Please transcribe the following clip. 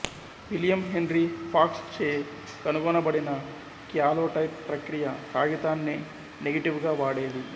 William Henry Fox చే కనుగొనబడిన calotype ప్రక్రియ కాగితాన్నే నెగటివ్ గా వాడేది